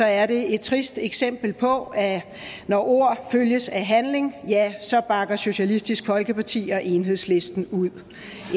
er det et trist eksempel på at når ord følges af handling så bakker socialistisk folkeparti og enhedslisten ud